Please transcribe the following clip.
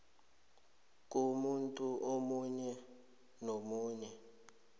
komuntu omunye nomunye